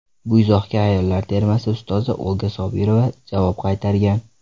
Bu izohga ayollar termasi ustozi Olga Sobirova javob qaytargan.